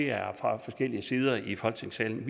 er fra forskellige sider i folketingssalen